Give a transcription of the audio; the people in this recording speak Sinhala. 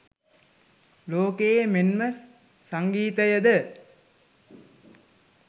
ලෝකය මෙන්ම සංගීතයද